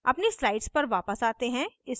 अपनी slides पर वापस आते हैं